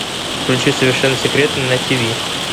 включи совершенно секретно на тиви